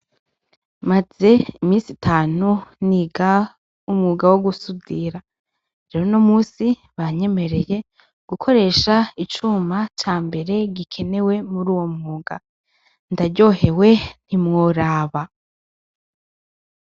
Maze imisi itanu niga umwuga wo gusudira rero uno musi banyemereye gukoresha icuma cambere gikenewe muruwo mwuga, ndaryohewe ntimworaba.